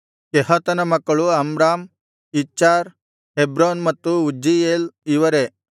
ಕೆಹಾತನ ಮಕ್ಕಳು Amram Izhar Hebron ಮತ್ತು Uzziel ಇವರೇ